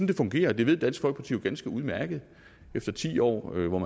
det fungerer og det ved dansk folkeparti jo ganske udmærket efter ti år hvor